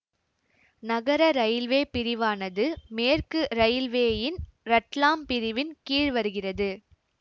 நகர இரயில்வே பிரிவானது மேற்கு இரயில்வேயின் ரட்லாம் பிரிவின் கீழ் வருகிறது